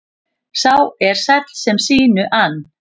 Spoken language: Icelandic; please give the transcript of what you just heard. Sá er sæll sem sínu ann.